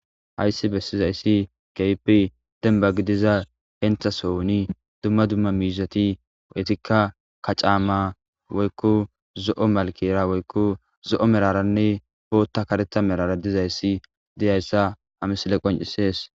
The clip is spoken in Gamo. Hayssi bessiza issi keehippe demba gidiza hentha sohoni dumma dumma miizati etikka kacaama woykko zo'o malkera woykko zo'o meraranne bootta kareta merara diza issi diya issa ha misile qoncisees